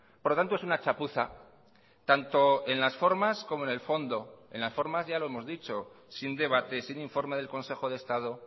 por lo tanto es una chapuza tanto en las formas como en el fondo en las formas ya lo hemos dicho sin debate sin informe del consejo de estado